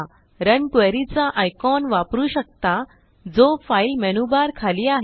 run query चा icon वापरू शकता जो फाईल मेनूबार खाली आहे